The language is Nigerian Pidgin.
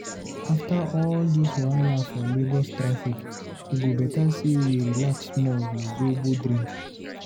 After all dis wahala for Lagos traffic, e go better sey we relax small with zobo drink.